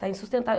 Está